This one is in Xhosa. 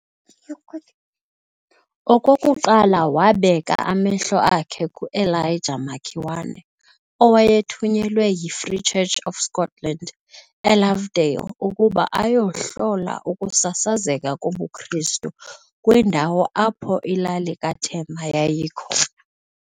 okokuqala wabeka amehlo akhe kuEliajah Makiwane owayethunyelwe yiFree Church of Scotland eLovedale ukuba ayohlola ukusasazeka kobuKristu kwindawo apho ilali kaThema yayikhona.